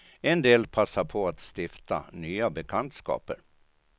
En del passar på att stifta nya bekantskaper.